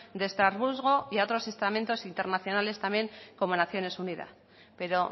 de estrasburgo y a otros estamentos internacionales también como naciones unidas pero